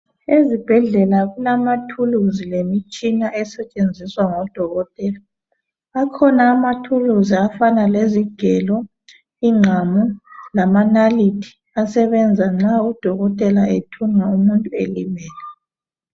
Ezibhedlela kulamathuluzi lemitshina esetshenziswa ngodokotela. Akhona amathuluzi afana lezigelo, ingqamu lamanalithi asebenza nxa udokotela ethunga umuntu elimele.